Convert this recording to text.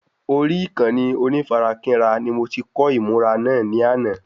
Orí Ìkànnì onífarakínra ni mo ti kọ́ ìmùra náà ní àná